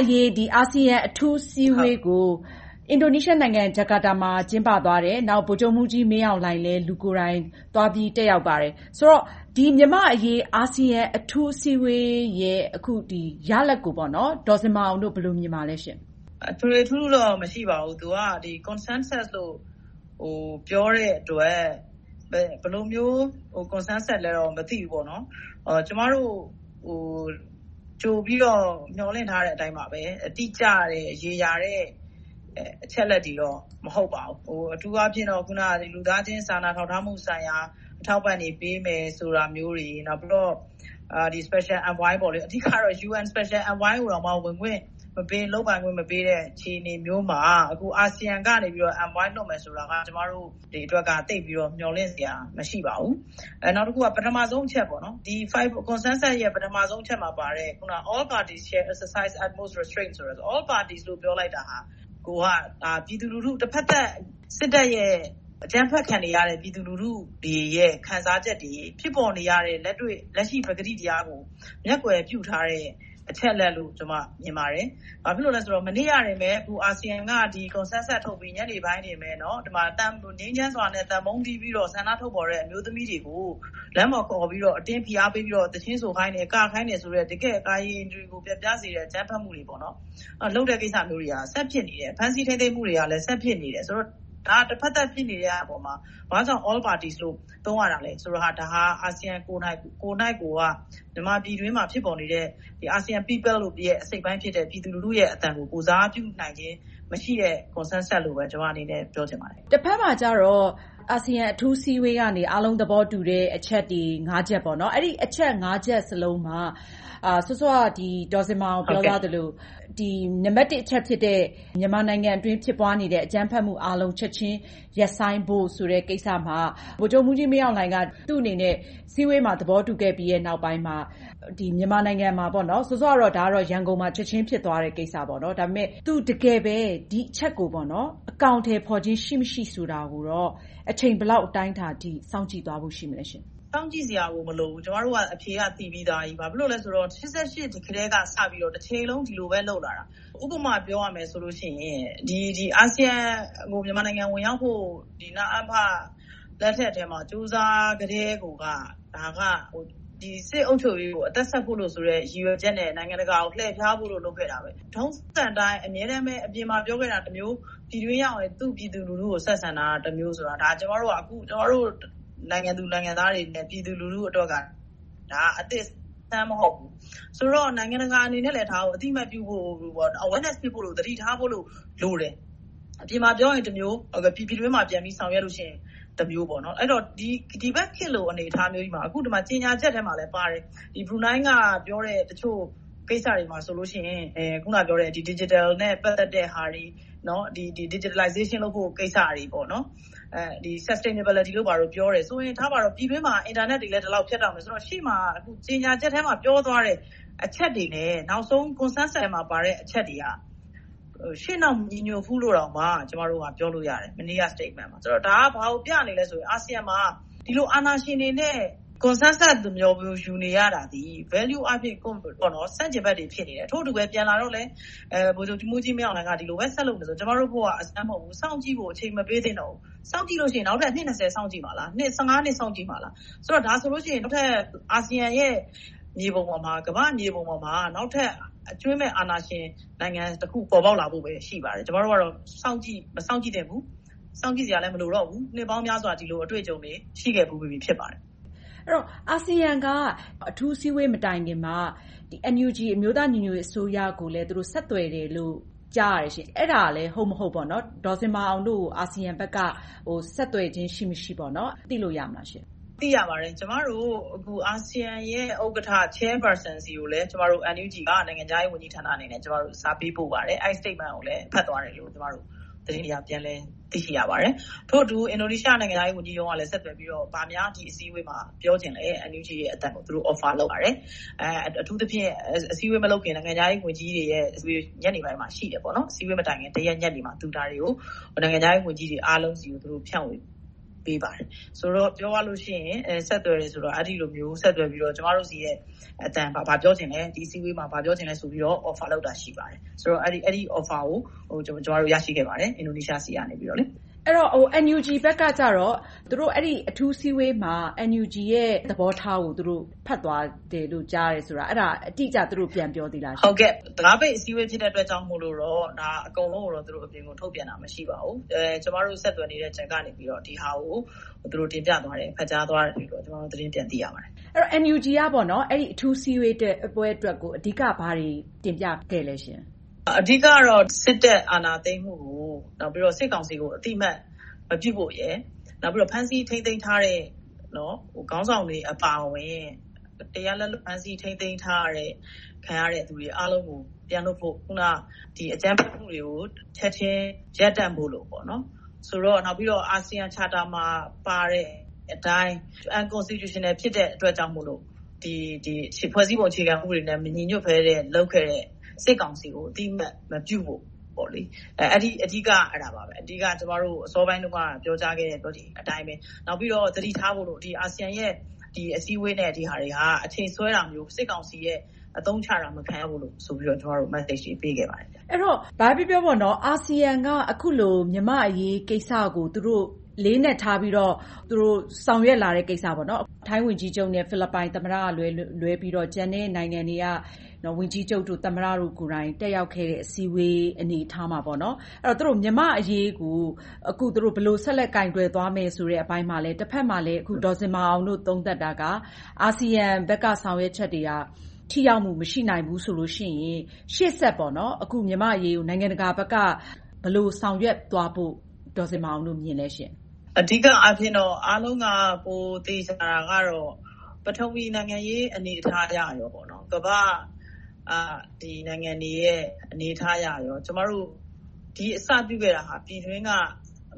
အရေး အာဆီယံ အထူးအစည်းအဝေးပွဲကို အင်ဒိုနီးရှားနိုင်ငံ ဂျာကာတာမြို့ ကျင်းပသွားတယ်။ ဗိုလ်ချုပ်မှူးကြီးမင်းအောင်လှိုင်လည်း လူကိုယ်တိုင်သွားပြီး တက်ရောက်ပါတယ်။ ဆိုတော့ မြန်မာ့အရေး အာဆီယံ အထူးအစည်းအဝေးရဲ့ ရလဒ်ကို ဒေါ်ဇင်မာအောင်တို့ ဘယ်လိုမြင်ပါသလဲရှင့်။ မင်္ဂလာပါ။ ထွေထွေထူးထူးတော့ မရှိပါဘူး။ သူက consensus လို့ ပြောတဲ့အတွက် ဘယ်လိုမျိုး consensus လည်းတော့ မသိဘူးပေါ့။ ကျမတို့ ကြိုပြီးတော့ မျှော်လင့်ထားတဲ့အတိုင်းပါပဲ တိကျတဲ့ ရေရာတဲ့ အချက်အလက်တွေတော့ မဟုတ်ပါဘူး။ အထူးအားဖြင့်တော့ လူသားချင်းစာနာ ထောက်ထားမှုဆိုင်ရာ အထောက်အပံ့တွေပေးမယ် ဆိုတာမျိုးတွေ။ နောက်ပြီးတော့ Special Envoy အဓိကတော့ UN Special Envoy ကိုတောင် ဝင်ခွင့်မပေး၊ လုပ်ပိုင်ခွင့် မပေးတဲ့ အခြေအနေမျိုုးမှာ အာဆီယံကနေ Envoy လွှတ်မယ်ဆိုတာက ကျမတို့အတွက် သိပ်ပြီးတော့ မျှော်လင့်စရာ မရှိပါဘူး။ နောက်တခုက Consensus ရဲ့ ပထမဦးဆုံးအချက်ဖြစ်တဲ့ All parties shall exercise utmost restraint ဆိုတာ all parties လို့ ပြောလိုက်တာဟာ တဘက်သတ် စစ်တပ်ရဲ့ အကြမ်းဖက်ခံနေရတဲ့ ပြည်သူလူထုတွေရဲ့ ခံစားချက်တွေ၊ ဖြစ်ပေါ်နေတဲ့ လက်ရှိအမှန်တရားကို မျက်ကွယ်ပြုထားတဲ့ အချက်အလက်လို့ ကျမ မြင်ပါတယ်။ ဘာဖြစ်လို့လဲဆိုတော့ မနေ့ကပဲ အာဆီယံက consensus ထုတ်ပြီး၊ ညနေပိုင်းမှာပဲ ငြိမ်းချမ်းစွာနဲ့ သံပုံးတီးပြီးတော့ ဆန္ဒထုတ်ဖော်တဲ့ အမျိုးသမီးတွေကို လမ်းပေါ်ခေါ်ပြီးတော့ အတင်းဖိအားပေးပြီးတော့ သီချင်းဆိုခိုင်းတယ်၊ ကခိုင်းတယ်ဆိုတဲ့ တကယ့်ကို ကာယိန္ဒြေ ပျက်ပြားစေတဲ့ အကြမ်းဖက်မှု လုပ်တဲ့ကိစ္စတွေက ဆန့်ကျင်နေတယ်။ ဖမ်းဆီးထိန်းသိမ်းမှုတွေကလည်း ဆက်ဖြစ်နေတယ်ဆိုတော့ ဒါက တဘက်သတ် ဖြစ်နေတဲ့အပေါ်မှာ ဘာကြောင့် All parties သုံးရတာလဲ။ ဒါက အာဆီယံကိုယ်နှိုက်ကိုယ်က မြန်မာပြည်တွင်းမှာ ဖြစ်ပေါ်နေတဲ့ ASEAN people ရဲ့ အစိတ်အပိုင်းဖြစ်တဲ့ ပြည်သူလူထုရဲ့ အသံကို ကိုယ်စားပြုနိုင်မှု မရှိတဲ့ Consensus လို့ပဲ ကျမအနေနဲ့ ပြောချင်ပါတယ်။ တဘက်မှာကြတော့ အာဆီယံ အထူးအစည်းအဝေးကနေ အားလုံးသဘောတူတဲ့ အချက်တွေ ချက် ရှိခဲ့တယ်။ အဲဒီ ချက်လုံးက စောစောက ဒေါ်ဇင်မာအောင် ပြောသွားသလို နံပတ်တစ်အချက်ဖြစ်တဲ့ မြန်မာနိုင်ငံအတွင်း ဖြစ်ပွားနေတဲ့ အကြမ်းဖက်မှုအားလုံး ချက်ချင်းရပ်ဆိုင်းဖို့ဆိုတဲ့ ကိစ္စမှာ ဗိုလ်ချုပ်မှူးကြီးမင်းအောင်လှိုင်က သူ့အနေနဲ့ အစည်းအဝေးမှာ သဘောတူခဲ့ပြီးနောက်ပိုင်းမှာ မြန်မာနိုင်ငံမှာ စောစောက ရန်ကုန်မှာ ချက်ချင်းဖြစ်သွားတဲ့ ကိစ္စ။ သူ တကယ်ပဲ ဒီအချက်ကို အကောင်အထည်ဖော်ခြင်း ရှိမရှိဆိုတာကိုတော့ အချိန် ဘယ်လောက် အတိုင်းအတာအထိ စောင့်ကြည့်သွားဖို့ ရှိသလဲ။ စောင့်ကြည့်စရာကို မလိုဘူး။ ကျမတို့က အဖြေက သိပြီသားကြီး။ ဘာဖြစ်လို့လဲဆိုတော့ ရှစ်ဆယ့်ရှစ်ကတည်း တချိန်လုံး ဒီလိုပဲ လုပ်လာတာ။ ဥပမာ ပြောရရင် အာဆီယံကို မြန်မာနိုင်ငံ ဝင်ရောက်ဖို့ နအဖ လက်ထက်မှာ ကြိုးစားခဲ့ကတည်းကိုက စစ်အုပ်ချုပ်ရေးကို အသက်ဆက်ဖို့ ရည်ရွယ်ချက်နဲ့ နိုင်ငံတကာကို လှည့်ဖြားပြီး လုပ်ခဲ့တာ။ ထုံးစံအတိုင်း အမြဲတမ်း အပြင်မှာပြောခဲ့တာတမျိုး ပြည်တွင်းပြန်ရောက်ရင် သူ့ပြည်သူကို ဆက်ဆံတာတမျိုးဆိုတာ ကျမတို့က နိုင်ငံသူနိုင်ငံသားတွေအနေနဲ့ ပြည်သူလူထုအတွက် အသစ်အဆန်း မဟုတ်ဘူး။ ဆိုတော့ နိုင်ငံတကာအနေနဲ့ အသိအမှတ်ပြုဖို့ awareness ဖြစ်ဖို့၊ သတိထားဖို့ လိုတယ်။ အပြင်မှာပြောရင်တမျိုး၊ ပြည်တွင်းမှာပြန်ပြီး ဆောင်ရွက်တဲ့အခါတမျိုး။ အဲဒီတော့ ဒီဘက်ခေတ်လို အနေအထားမျိုးကြီးမှာ ကြေညာချက်ထဲမှာလဲပါတယ်။ ဘရူးနိုင်းကပြောတဲ့ ကိစ္စတချို့ဆိုရင် Digital နဲ့ ပတ်သက်တဲ့ဟာတွေ။ Digitalization လုပ်ဖို့ကိစ္စတွေ။ Sustainability တို့ ဘာတို့ပြောတယ်ဆိုရင် ထားပါတော့ ပြည်တွင်းမှာလည်း အင်တာနက်တွေလည်း ဒီလောက်ဖြတ်တောက်နေတော့၊ ရှေ့မှာကြေညာချက်ထဲမှာ ပြောသွားတဲ့အချက်တွေနဲ့ နောက်ဆုံး Consensus မှာပါတဲ့ အချက်တွေက ရှေ့နောက်မညီညွှတ်ဘူးလို့ ကျမတို့က ပြောလို့ရတယ်။ မနေ့က Statement မှာ။ ဒါက ဘာကိုပြနေသလဲဆိုရင် အာဆီယံမှာ ဒီလို အာဏာရှင်တွေနဲ့ Consensus ယူနေရတာသည် Value အားဖြင့် ဆန့်ကျင်ဘက်တွေ ဖြစ်နေတယ်။ ထို့အတူပဲ ပြန်လာတော့လဲ ဗိုလ်ချုပ်မှူးကြီးမင်းအောင်လှိုင်က ဒီလိုပဲ ဆက်လုပ်နေမယ်ဆိုရင် ကျမတို့အဖို့ အဆန်းမဟုတ်ဘူး။ စောင့်ကြည့်ဖို့ အချိန်ပေး မသင့်တော့ဘူး။ စောင့်ကြည့်လို့ရှိရင် နောက်ထပ်အနှစ် စောင့်ကြည့်မှာလား။ နှစ် စောင့်ကြည့်မှာလား။ ဒါဆိုရင် နောက်ထပ် အာဆီယံရဲ့ မြေပုံ ကမ္ဘာမြေပုံပေါ်မှာ နောက်ထပ်အကြွင်းမဲ့ အာဏာရှင်နိုင်ငံတခု ပေါ်ပေါက်လာဖို့ပဲ ရှိပါတယ်။ ကျမတို့ကတော့ မစောင့်ကြည့်သင့်ဘူး။ စောင့်ကြည့်စရာလဲ မလိုတော့ဘူး။ နှစ်ပေါင်းများစွာ ဒီလိုအတွေ့အကြုံတွေ ရှိခဲ့ဖူးပြီ ဖြစ်ပါတယ်။ အဲဒီတော့ အာဆီယံက အထူးအစည်းအဝေး မတိုင်မီမှာ NUG အမျိုးသားညီညွှတ်ရေးအစိုးရကိုလည်း သူတို့ဆက်သွယ်တယ်လို့ ကြားတယ်။ အဲဒါ ဟုတ်မဟုတ် ဒေါ်ဇင်မာအောင်တို့ကို အာဆီယံဘက်က ဆက်သွယ်ခြင်း ရှိမရှိ သိလို့ရမလားရှင့်။ သိရပါတယ်။ ကျမတို့ အာဆီယံရဲ့ ဥက္ကဋ္ဌ Chairperson ဆီကို ကျမတို့ NUG နိုင်ငံခြားရေးဝန်ကြီးဌာနက စာပေးပို့ပါတယ်။ အဲဒီ Statement ကိုလည်း ဖတ်သွားတယ်လို့ ကျမတို့ သတင်းတွေအရ ပြန်လည်သိရှိရပါတယ်။ ထို့အတူ အင်ဒိုနီးရှားနိုင်ငံခြားရေး ဝန်ကြီးရုံးကလည်း ဆက်သွယ်ပြီးတော့ ဘာများ ဒီအစည်းအဝေးမှာ ပြောချင်လဲ။ NUG ရဲ့ အသံကို သူတို့ Offer လုပ်ပါတယ်။ အထူးသဖြင့် အစည်းအဝေး မလုပ်ခင် နိုင်ငံခြားရေးဝန်ကြီးတွေရဲ့ အစည်းအဝေး ညနေပိုင်းမှာရှိတယ်။ အစည်းအဝေးမတိုင်ခင် ညနေမှာ သူ ဒါတွေကို နိုင်ငံခြားရေးဝန်ကြီးတွေ အားလုံးဆီကို သူတို့ဖြန့်ဝေပေးပါတယ်။ ဆိုတော့ ပြောရလို့ရှိရင် NUG ဆက်သွယ်တယ်ဆိုတာ အဲဒီလိုမျိုး ဆက်သွယ်ပြီးတော့ ကျမတို့ရဲ့ အသံ၊ ဘာပြောချင်လဲ။ ဒီအစည်းအဝေးမှာ ဘာပြောချင်လဲဆိုပြီးတော့ Offer လုပ်ပါတယ်။ အဲဒီ Offer ကို ကျမတို့ အင်ဒိုနီးရှားဆီကနေ ရရှိခဲ့ပါတယ်။ အဲဒီတော့ NUG ဘက်က အထူးအစည်းအဝေးမှာ NUG ရဲ့ သဘောထားကို ဖတ်သွားတယ်လို့ ကြားတယ်ဆိုတာ သူတို့ အတိအကျ ပြန်ပြောသေးလား။ တံခါးပိတ် အစည်းအဝေး ဖြစ်တဲ့အတွက်ကြောင့်မို့ အကုန်လုံးကို အပြင်ကို ထုတ်ပြန်တာ မရှိပါဘူး။ ကျမတို့ ဆက်သွယ်နေတဲ့ Channel ကနေ ဒီဟာကို တင်ပြသွားတယ်။ ဖတ်ကြားသွားတယ်လို့ ကျမတို့ သတင်းပြန်ကြားသိရပါတယ်။ အဲဒီတော့ NUG က အထူးအစည်းအဝေးပွဲအတွက် အဓိက ဘာတွေတင်ပြခဲ့သလဲရှင့်။ အဓိကတော့ စစ်တပ်အာဏာသိမ်းမှုကို၊ စစ်ကောင်စီကို အသိအမှတ် မပြုဖို့ရယ်။ နောက် ဖမ်းဆီးထိန်းသိမ်းထားတဲ့ ခေါင်းဆောင်တွေအပါအဝင်၊ တရားလက်လွှတ် ဖမ်းဆီးထိန်းသိမ်းခြင်း ခံနေရတဲ့လူတွေအားလုံးကို ပြန်လွှတ်ဖို့။ အကြမ်းဖက်မှုတွေကို ချက်ချင်းရပ်တန့်ပေးဖို့။ နောက်ပြီးတော့ အာဆီယံ Charter မှာပါတဲ့အတိုင်း Unconstitutional ဖြစ်တဲ့အတွက်ကြောင့်မို့ ဖွဲ့စည်းပုံ အခြေခံဥပဒေနဲ့ မညီညွှတ်ဘဲ လုပ်ခဲ့တဲ့ စစ်ကောင်စီကို အသိအမှတ် မပြုဖို့ အဓိက အဲဒါပါပဲ - အစောပိုင်းတုန်းက ပြောကြားခဲ့တဲ့အတိုင်းပဲ။ နောက်ပြီးတော့ သတိထားဖို့က အာဆီယံနဲ့ အစည်းအဝေးတွေက အချိန်ဆွဲတာမျိုး၊ စစ်ကောင်စီရဲ့ အသုံးချတာ မခံရဖိုဆိုပြီးတော့ ကျမတို့ ပြောခဲ့ပါတယ်။ အဲဒီတော့ ဘာပဲပြောပြော အာဆီယံက အခုလို မြန်မာ့အရေးကိစ္စကို အလေးအနက်ထားပြီးတော့ ဆောင်ရွက်လာတဲ့ကိစ္စ။ ထိုင်းဝန်ကြီးချုပ်နဲ့ ဖိလစ်ပိုင်သမ္မတတို့ကလွဲလို့ ကျန်တဲ့ နိုင်ငံက ဝန်ကြီးချုပ်၊ သမ္မတတို့ကိုယ်တိုင် တက်ရောက်ခဲ့တဲ့ အစည်းအဝေး အနေအထားမှာ မြန်မာ့အရေးကို အခုဘယ်လို ဆက်လက်ကိုင်တွယ်သွားမယ်ဆိုတဲ့ အပိုင်းမှာလဲ တဘက်မှာလဲ ဒေါ်ဇင်မာအောင်တို့ သုံးသပ်တာက အာဆီယံဘက်က ဆောင်ရွက်ချက်တွေက ထိရောက်မှု မရှိနိုင်ဘူးဆိုလို့ရှိရင် ရှေ့ဆက်ပြီး အခုမြန်မာ့အရေးကို နိုင်ငံတကာဘက်က ဘယ်လိုဆောင်ရွက်သွားဖို့ ဒေါ်ဇင်မာအောင်တို့ မြင်ပါသလဲရှင့်။ အဓိကအားဖြင့်တော့ အားလုံးက သေချာတာကတော့ ပထဝီနိုင်ငံရေးအရ ကမ္ဘာ့နိုင်ငံတွေရဲ့ အနေအထားရတော့ ကျမတို့ အစပြုခဲ့တာ ပြည်တွင်းက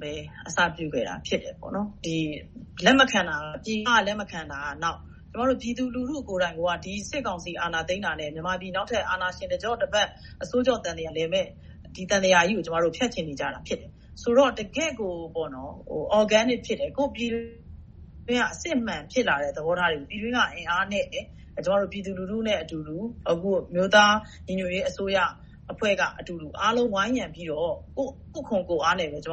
ပဲ အစပြုခဲ့တာ ဖြစ်တယ်။ ပြည်ပက လက်မခံတာက နောက်မှ။ ကျမတို့ ပြည်သူလူထုကိုယ်တိုင်က စစ်ကောင်စီ အာဏာသိမ်းတာနဲ့ မြန်မာပြည် နောက်ထပ်အာဏာရှင် တကျော့တပတ် အဆိုးကြော့တပတ်လည်မယ့် ဒီသံသရာကြီးကို ကျမတို့ ဖြတ်ချင်နေတာ ဖြစ်တယ်။ ဆိုတော့ တကယ့်ကို Organic ဖြစ်တယ်။ အစစ်အမှန် ဖြစ်လာတဲ့ သဘောထားတွေကို ပြည်တွင်းက အင်အားနဲ့ ကျမတို့ ပြည်သူလူထုနဲ့အတူ အမျိုးသားညီညွှတ်ရေးအစိုးရအဖွဲ့က အားလုံးဝိုင်းရံပြီးတော့ ကိုယ့်ခွန်ကိုယ်အားနဲ့ အဓိက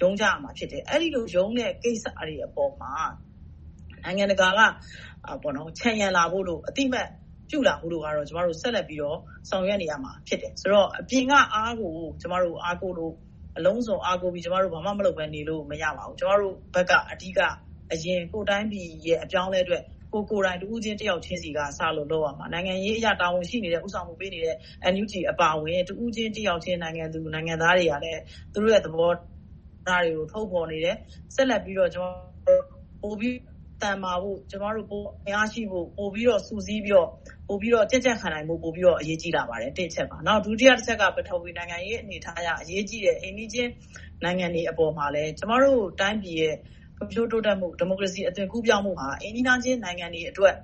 ရုန်းကြရမှာ ဖြစ်တယ်။ အဲဒီလို ရုန်းတဲ့ကိစ္စတွေအပေါ် နိုင်ငံတကာက ခြံရံလာဖို့အတွက် အသိအမှတ်ပြုလာဖို့ကတော့ ဆက်လက်ပြီးတော့ ဆောင်ရွက်နေရမှာ ဖြစ်တယ်။ အပြင်ကအားကို ကျမတို့ အလုံးစုံအားကိုးပြီး ကျမတို့ ဘာမှမလုပ်ဘဲနေလို့ မရဘူး။ ကျမတို့ဘက်က အဓိက ကိုယ့်တိုင်းပြည်ရဲ့ အပြောင်းအလဲအတွက် ကိုယ်ကိုယ်တိုင်း တဦးချင်း၊ တယောက်ချင်းဆီက စလို့လုပ်ရမှာ။ နိုင်ငံရေးအရ တာဝန်ရှိနေတဲ့ ဦးဆောင်မှုပေးတဲ့ NUG အပါအဝင် တဦးချင်း၊ တယောက်ချင်း နိုင်ငံသူနိုင်ငံသားတွေကလည်း သူတို့ရဲ့ သဘောထားတွေကို ထုတ်ဖော်နေတယ်။ ဆက်လက်ပြီးတော့ ပိုပြီးသန်မာဖို့ ကျမတို့ အင်အားရှိဖို့၊ ပိုပြီးတော့ စုစည်းပြီးတော့ ပိုပြီးတော့ ကြံ့ကြံ့ခံနိုင်ဖို့ ပိုအရေးကြီးလာပါတယ်။ ဒုတိယတချက်က ပထဝီနိုင်ငံရေး အနေအထားအရ အရေးကြီးတယ်။ အိမ်နီးချင်းနိုင်ငံတွှ ကျမတို့တိုင်းပြည်ရဲ့ ဖွံ့ဖြိုးတိုးတက်မှု၊ ဒီမိုကရေစီ အသွင်ကူးပြောင်းမှုမှာ အိမ်နီးချင်းနိုင်ငံတွေအတွက်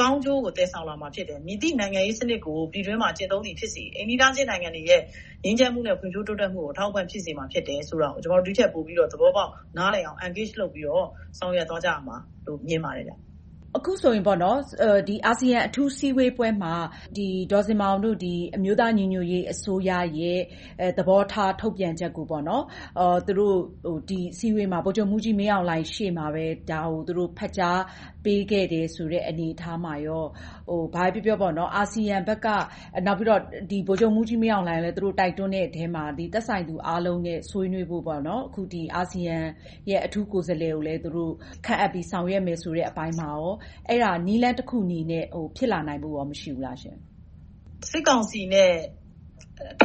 ကောင်းကျိုးကို သယ်ဆောင်လာမှာ ဖြစ်တယ်။ မည်သည့်နိုင်ငံရေးစနစ်ကို ပြည်တွင်းမှာ ကျင့်သုံးသည်ဖြစ်စေ၊ အိမ်နီးနားချင်းနိုင်ငံတွေရဲ့ ငြိမ်းချမ်းမှုနဲ့ ဖွံ့ဖြိုးမှုကို အထောက်အပံ့ ဖြစ်စေမှာ ဖြစ်တယ်ဆိုတာကို ကျမတို့ ဒီထက်ပိုပြီးတော့ နားလည်သဘောပေါက်လာအောင် Engage လုပ်ပြီးတော့ ဆောင်ရွက်သွားကြရမယ်လို့ မြင်ပါတယ်။ အခုဆိုရင် အာဆီယံ အထူးအစည်းအဝေးပွဲမှာ ဒေါ်ဇင်မာအောင်တို့ အမျိုးသားညီညွှတ်ရေးအစိုးရရဲ့ သဘောထားထုတ်ပြန်ချက်ကို သူတို့ ဒီအစည်းအဝေးမှာ ဗိုလ်ချုပ်မှူးကြီးမင်းအောင်လှိုင် ရှေ့မှာပဲ ဒါကို သူတို့ဖတ်ကြားပေးခဲ့တယ်ဆိုတဲ့ အနေအထားမှာ ဘာပဲပြောပြော အာဆီယံဘက်က၊ နောက်ပြီးတော့ ဗိုလ်ချုပ်မှူးကြီးမင်းအောင်လှိုင်ကိုလည်း တိုက်တွန်းတဲ့အထဲမှာ သက်ဆိုင်သူအားလုံးနဲ့ ဆွေးနွေးဖို့ အခု အာဆီယံရဲ့ အထူးကိုယ်စားလှယ်ကိုလည်း သူတို့ခန့်အပ်ပြီး ဆောင်ရွက်မယ်ဆိုတဲ့ အပိုင်းမှာ အဲဒါနည်းလမ်းတခုအနေနဲ့ ဖြစ်လာနိုင်ဖို့ မရှိဘူးလား။ စစ်ကောင်စီနဲ့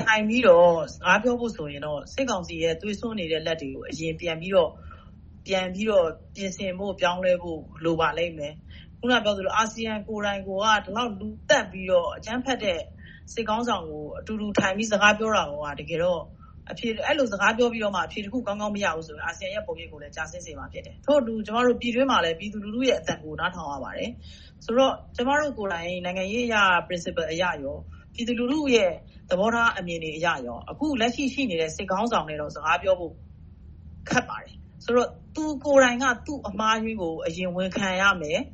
ထိုင်ပြီးတော့ စကားပြောဖို့ဆိုရင်တော့ စစ်ကောင်စီရဲ့ သွေးစွန်းနေတဲ့ လက်တွေကို အရင်ပြန်ပြီးတော့ ပြင်ဆင်ဖို့ ပြောင်းလဲဖို့ လိုပါလိမ့်မယ်။ အခုနပြောသလို အာဆီယံကိုယ်တိုင်က ဒီလောက် လူသတ်ပြီးတော့၊ အကြမ်းဖက်တဲ့ စစ်ခေါင်းဆောင်နဲ့ အတူတူထိုင်ပြီးတော့ စကားပြောတာကိုက၊ အဲဒီလို စကားပြောပြီးတော့ အဖြေတခုကောင်းကောင်း မရဘူးဆိုရင် အာဆီယံရဲ့ ပုံရိပ်ကိုလည်း ကျဆင်းစေမှာ ဖြစ်တယ်။ ထို့အတူ ပြည်တွင်းမှာလည်း ကျမတို့ ပြည်သူလူထုရဲ့ အသံကို နားထောင်ရပါတယ်။ ဆိုတော့ ကျမတို့ကိုယ်တိုင် နိုင်ငံရေးအရ Principle အရကော ပြည်သူလူထုရဲ့ သဘောထားအမြင်အရ အခုလက်ရှိ ရှိနေတဲ့ စစ်ခေါင်းဆောင်နဲ့ စကားပြောဖို့ ခက်ပါတယ်။ ဆိုတော့ သူကိုယ်တိုင်က သူ့အမှားအယွင်းကို အရင်ဝန်ခံရမယ်။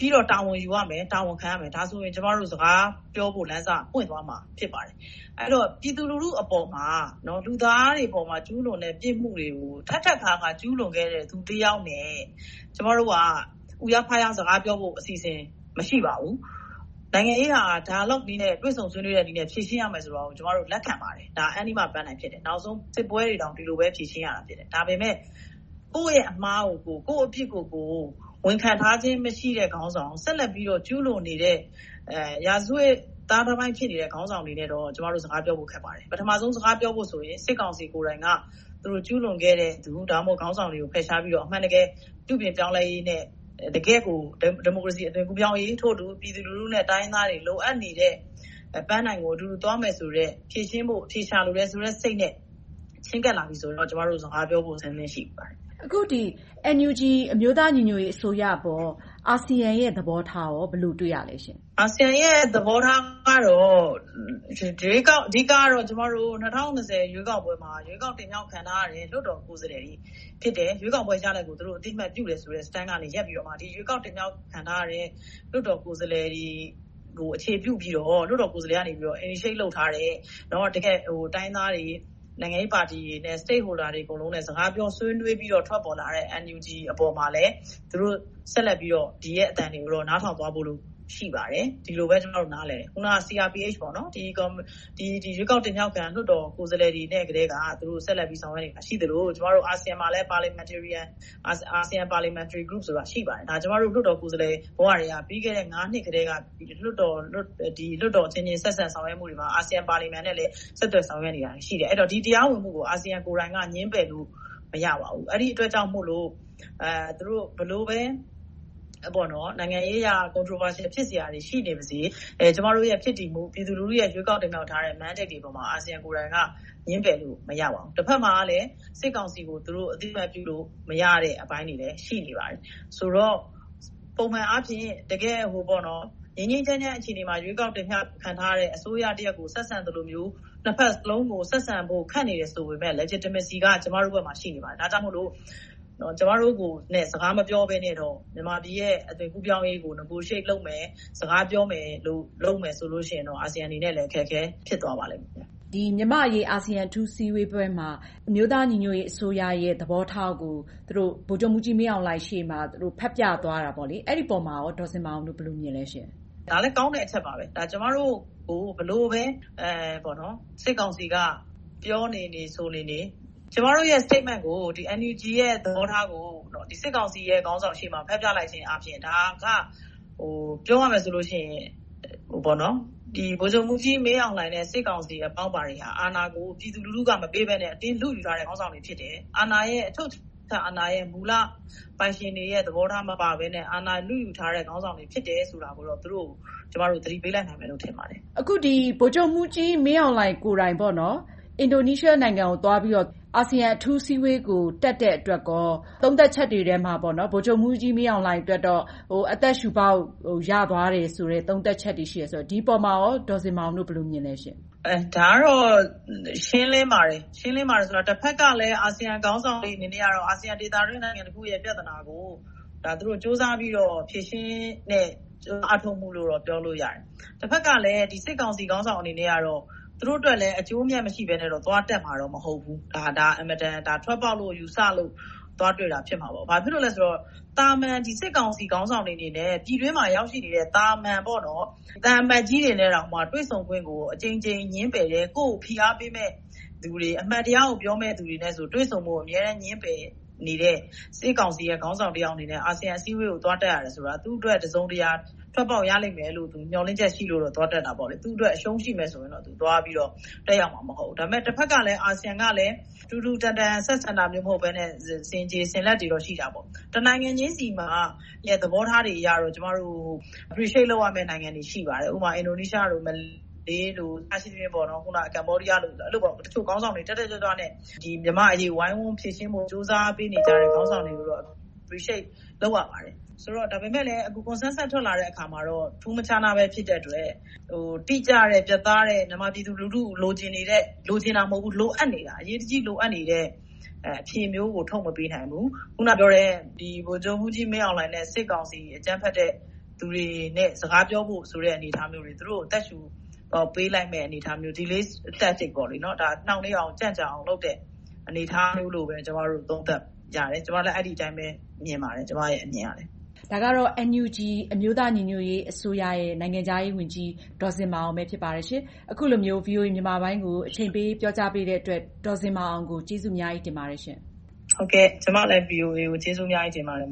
ပြီးတော့ တာဝန်ယူရမယ်။ တာဝန်ခံရမယ်။ ဒါဆိုရင် ကျမတို့ စကားပြောဖို့ လမ်းစပွင့်သွားမယ် ဖြစ်ပါတယ်။ ပြည်သူလူထုအပေါ်မှာ လူသားတွေအပေါ်မှာ ကျူးလွန်တဲ့ ပြစ်မှုတွေကို ထပ်ခါတလဲလဲ ကျူးလွန်ခဲ့တဲ့ လူတယောက်နဲ့ ကျမတို့က အူးရားဖားရား စကားပြောဆိုအစီအစဉ် မရှိပါဘူး။ နိုင်ငံရေးဟာ Dialogue နည်းနဲ့ တွေ့ဆုံဆွေးနွေးမှုနည်းနဲ့ ဖြေရှင်းရမယ်ဆိုတာကို ကျမတို့ လက်ခံပါတယ်။ နောက်ဆုံးပန်းတိုင် ဖြစ်တယ်။ စစ်ပွဲတွေကိုလည်း ဒီလိုပဲ ဖြေရှင်းရတာပဲ။ ဒါပေမဲ့ ကိုယ့်ရဲ့အမှားကို ကိုယ့်အပြစ်ကို ဝန်ခံထားခြင်း မရှိတဲ့ ခေါင်းဆောင် ဆက်လက်ပြီးတော့ ကျူးလွန်နေတဲ့ ရာဇဝတ်သားတပိုင်း ဖြစ်နေတဲ့ ခေါင်းဆောင်တွေထက်တော့ ကျနော်တို့ စကားပြောဖို့ ခက်ပါတယ်။ ပထမဦးဆုံး စကားပြောဖို့ဆိုရင် စစ်ကောင်စီ ကိုယ်တိုင်က ကျူးလွန်ခဲ့တဲ့သူ၊ ခေါင်းဆောင်တွေကို ဖယ်ရှားပြီးတော့ အမှန်တကယ် ပြုပြင်ပြောင်းလဲရေးနဲ့ တကယ့်ကို ဒီမိုကရေစီ အသွင်ကူးပြောင်းရေး ထို့အတူ ပြည်သူလူထုနဲ့ တိုင်းရင်းသားတွေ လိုအပ်နေတဲ့ ပန်းတိုင်ကို အတူတူသွားမယ်ဆိုတဲ့ ဖြေရှင်းဖို့ အဖြေရှာလိုတဲ့စိတ်နဲ့ ချဉ်းကပ်လာပြီဆိုရင်တော့ ကျမတို့ စကားပြောဖို့ အဆင်သင့် ရှိပါတယ်။ အခု NUG အမျိုးသားညီညွှတ်ရေးအစိုးရအပေါ် အာဆီယံရဲ့ သဘောထားကော ဘယ်လိုတွေ့ရသလဲရှင့်။ အာဆီယံရဲ့ သဘောထားကတော့ အဓိက ကျမတို့ ၂၀၂၀ ရွေးကောက်ပွဲမှာ ရွေးကောက်တင်မြှောက်ထားခံထားရတဲ့ လွှတ်တော်ကိုယ်စားလှယ်တွေ ဖြစ်တယ်။ ရွေးကောက်ပွဲရလဒ်ကို သူတို့ အသိအမှတ်ပြုတယ်ဆိုတဲ့ Stand ကနေ ရပ်ပြီးတော့ ရွေးကောက်တင်မြှောက်ခံထားရတဲ့ လွှတ်တော်ကိုယ်စားလှယ်တွေကို အခြေပြုပြီးတော့ လွှတ်တော်ကိုယ်စားလှယ်တွေက Initiate လုပ်ထားတဲ့ တကယ့်တိုင်းရင်းသားတွေ၊ နိုင်ငံရေးပါတီတွေနဲ့ state holders တွေနဲ့ စကားပြောဆွေးနွေးပြီးတော့ ထွက်ပေါ်လာတဲ့ NUG အပေါ်မှာလည်း သူတို့ဆက်လက်ပြီးတော့ ဒီရဲ့အသံတွေကို နားထောင်သွားဖို့ ဆက်လက်ရှိပါတယ်။ ဒီလိုပဲ ကျမတို့ နားလည်တယ်။ ရွေးကောက်တင်မြှောက်ခံ လွှတ်တော်ကိုယ်စားလှယ်တွေနဲ့ ဆက်လက်ဆောင်ရွက်နေတာ ရှိသလို၊ အာဆီယံမှာလည်း ASEAN Parliamentary Group ဆိုပြီး ရှိပါတယ်။ ဒါက ကျမတို့ လွှတ်တော်ကိုယ်စားလှယ်ဘဝကတည်းက ပြီးခဲ့တဲ့ နှစ်ကတည်းက လွှတ်တော်အချင်းချင်း ဆက်ဆံဆောင်ရွက်မှုတွေမှာ အာဆီယံပါလီမန်နဲ့လည်း ဆက်သွယ်ဆောင်ရွက်နေတာ ရှိတယ်။ ဒီတရားဝင်မှုကို အာဆီယံကိုယ်တိုင်က ငြင်းပယ်လို့ မရပါဘူး။ အဲဒီအတွက်ကြောင့်မို့ သူတို့ ဘယ်လိုပဲ နိုင်ငံရေးအရ အငြင်းပွားစရာတွေ ရှိနေပါစေ။ ကျမတို့ရဲ့ ဖြစ်တည်မှု၊ ပြည်သူလူထုရဲ့ ရွေးကောက်တင်မြှောက်ထားတဲ့ Mandate တွေပေါ်မှာ အာဆီယံကိုယ်တိုင်က ငြင်းပယ်လို့ မရပါဘူး။ တဘက်မှာလဲ စစ်ကောင်စီကို သူတို့ အသိအမှတ်ပြုလို့ မရတဲ့အပိုင်းတွေလည်း ရှိနေပါတယ်။ ဆိုတော့ ပုံမှန်အားဖြင့် တကယ့် ငြိမ်းငြိမ်းချမ်းချမ်း အခြေအနေမှာ ရွေးကောက်တင်မြှောက်ခံထားရတဲ့ အစိုးရတရပ်ကို ဆက်ဆံသလိုမျိုး နှစ်ဘက်စလုံးကို ဆက်ဆံဖို့ ခက်နေတယ်ဆိုပေမယ့် Legitimacy က ကျမတို့ဘက်မှာ ရှိနေပါတယ်။ ဒါကြောင့်မို့ ကျမတို့နဲ့ စကားမပြောဘဲနဲ့ မြန်မာပြည်ရဲ့ အသွင်ကူးပြောင်းရေးကို Negotiate လုပ်မယ်၊ စကားပြောမယ်လို့ လုပ်မယ်ဆိုရင်တော့ အာဆီယံအနေနဲ့လည်း အခက်အခဲ ဖြစ်သွားပါလိမ့်မယ်။ မြန်မာ့အရေး အာဆီယံ အထူးအစည်းအဝေးပွဲမှာ အမျိုးသားညီညွှတ်ရေးအစိုးရရဲ့ သဘောထားကို ဗိုလ်ချုပ်မှူးကြီး မင်းအောင်လှိုင်ရှေ့မှာ ဖတ်ပြသွားတာ။ အဲဒီအပေါ်မှာ ဒေါ်ဇင်မာအောင်တို့ ဘယ်လိုမြင်ပါသလဲရှင့်။ ဒါကလဲ ကောင်းတဲ့အချက်ပါပဲ။ ကျမတို့ကို ဘယ်လိုပဲ စစ်ကောင်စီက ပြောနေနေ ဆိုနေနေ ကျမတို့ရဲ့ Statement ကို NUG ရဲ့ သဘောထားကို စစ်ကောင်စီရဲ့ ရှေ့မှာ ဖတ်ပြလိုက်ခြင်းအားဖြင့် ဒါက ပြောရမယ်ဆိုလို့ရှိရင် ဗိုလ်ချုပ်မှူးကြီးမင်းအောင်လှိုင်နဲ့ စစ်ကောင်စီ အပေါင်းအပါတွေက အာဏာကို ပြည်သူလူထုက မပေးဘဲနဲ့ အတင်းလုယူထားတဲ့ ခေါင်းဆောင်တွေ ဖြစ်တယ်။ အချုပ်အခြာအာဏာရဲ့ မူလပိုင်ရှင်တွေရဲ့ သဘောထားမပါဘဲနဲ့ အာဏာလုယူထားတဲ့ ခေါင်းဆောင်တွေ ဖြစ်တယ်ဆိုတာကို သူတို့ကို ကျမတို့ သတိပေးလိုက်နိုင်တယ်လို့ ထင်ပါတယ်။ အခု ဗိုလ်ချုပ်မှူးကြီးမင်းအောင်လှိုင်ကိုယ်တိုင် အင်ဒိုနီးရှားနိုင်ငံကို သွားပြီးတော့ အာဆီယံအထူးအစည်းအဝေးကို တက်တဲ့အတွက် သုံးသပ်ချက်တွေထဲမှာ ဗိုလ်ချုပ်မှူးကြီး မင်းအောင်လှိုင်အတွက်တော့ အသက်ရှူပေါက် ရသွားတယ်ဆိုတဲ့ သုံးသပ်ချက်တွေ ရှိတယ်ဆိုတော့ ဒီအပေါ်မှာ ဒေါ်ဇင်မာအောင်တို့ ဘယ်လိုမြင်သလဲရှင့်။ ဒါကတော့ ရှင်းလင်းပါတယ်။ တဘက်ကလဲ အာဆီယံခေါင်းဆောင်တွေကတော့ အာဆီယံ ဒေသတွင်း နိုင်ငံတခုရဲ့ ပြဿနာကို သူတို့ ကြိုးစားပြီးတော့ ဖြေရှင်းတဲ့ အားထုတ်မှုလို့ ပြောလို့ရတယ်။ တဘက်ကလဲ စစ်ကောင်စီ ခေါင်းဆောင်တွေအနေနဲ့တော့ သူတို့အတွက်လဲ အကျိုးအမြတ် မရှိဘဲနဲ့တော့ သွားတက်မှာတော့ မဟုတ်ဘူး။ ဒါကို ထွက်ပေါက်လို့ ယူဆလို့ သွားတွေ့တာ ဖြစ်မှာပေါ့။ ဘာကြောင့်လဲဆိုတော့ သာမန်စစ်ကောင်စီ ခေါင်းဆောင်တွေအနေနဲ့ ပြည်တွင်းမှာ ရောက်ရှိနေတဲ့ သာမန်သံအမတ်ကြီးတွေနဲ့တောင် တွေ့ဆုံခွင့်ကို အကြိမ်ကြိမ် ငြင်းပယ်တယ်။ ကိုယ့်ကိုယ် ဖိအားပေးမယ့်သူတွေ၊ အမှန်တရားကိုပြောမယ့်သူတွေနဲ့ တွေ့ဆုံဖို့ကို အမြဲတမ်း ငြင်းပယ်နေတဲ့ စစ်ကောင်စီရဲ့ ခေါင်းဆောင်တယောက်အနေနဲ့ အာဆီယံအစည်းအဝေးကို သွားတက်ရတယ်ဆိုတာ သူ့အတွက် တစုံတရာ ထွက်ပေါက်ရလိမ့်မယ်လို့ မျှော်လင့်ချက်ရှိလို့ သွားတက်တာပေါ့။ သူ့အတွက် အရှုံးရှိမယ်ဆိုရင်တော့ သွားပြီးတော့ တက်ရောက်မှာ မဟုတ်ဘူး။ တဘက်ကလဲ အာဆီယံကလည်း တူတူတန်တန် ဆက်ဆံတာမျိုး မဟုတ်ဘဲနဲ့ ဆင်ခြေဆင်လက်တွေတော့ ရှိတာပေါ့။ တနိုင်ငံချင်းဆီရဲ့ သဘောထားတွေကိုတော့ ကျမတို့ appreciate လုပ်ရမယ့် နိုင်ငံတွေ ရှိပါတယ်။ ဥပမာ အင်ဒိုနီးရှားတို့ မလေးတို့ ကမ္ဘောဒီးယားတို့ တချို့ခေါင်းဆောင်တွေ တက်တက်ကြွကြွနဲ့ မြန်မာ့အရေးကို ဝိုင်းဝန်ဖြေရှင်းဖို့ ကြိုးစားပေးနေကြတဲ့ ခေါင်းဆောင်တွေကိုတော့ appreciate လုပ်ရပါတယ်။ ဒါပေမဲ့လဲ Consensus ထွက်လာတဲ့အခါမှာတော့ ထူးမခြားနဲ့ ဖြစ်တဲ့အတွက် တိကျတဲ့၊ ပြတ်သားတဲ့ မြန်မာပြည်သူလူထု လိုချင်နေတဲ့၊ လိုချင်တာ မဟုတ်ဘူး၊ လိုအပ်နေတာ အရေးတကြီး လိုအပ်နေတဲ့ အဖြေမျိုးကို ထုတ်မပေးနိုင်ဘူး။ အခုနပြောတဲ့ ဗိုလ်ချုပ်မှူးကြီး မင်းအောင်လှိုင်နဲ့ စစ်ကောင်စီ အကြမ်းဖက်လူတွေနဲ့ စကားပြောဖို့ဆိုတဲ့ အနေအထားမျိုးတွေက သူတို့ကို အသက်ရှူပေးလိုက်မယ့် အနေအထားမျိုး Delay Tactics နှောင့်နှေးအောင်၊ ကြန့်ကြာအောင်လို့ လုပ်တဲ့ အနေအထားမျိုးလို့ ကျမတို့ သုံးသပ်ကြတယ်။ ကျမတို့ အဲဒီအတိုင်းပဲ မြင်ပါတယ်။ ဒါကတော့ NUG အမျိုးသားညီညွှတ်ရေးအစိုးရရဲ့ နိုင်ငံခြားရေးဝန်ကြီး ဒေါ်ဇင်မာအောင် ဖြစ်ပါတယ်။ အခုလိုမျိုး VOA မြန်မာပိုင်းကို အချိန်ပေးပြီး ပြောကြားပေးတဲ့အတွက် ဒေါ်ဇင်မာအောင်ကို ကျေးဇူးအများကြီး တင်ပါတယ်ရှင့်။ ဟုတ်ကဲ့ ကျမလည်း VOA ကို ကျေးဇူးအများကြီး တင်ပါတယ်